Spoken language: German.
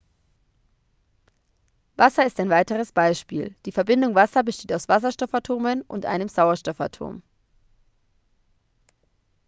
wasser ist ein weiteres beispiel die verbindung wasser besteht aus zwei wasserstoffatomen und einem sauerstoffatom